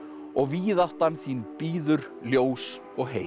og víðáttan þín bíður ljós og